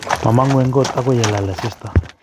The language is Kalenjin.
Mamang'u eng' kot akoy yelal asista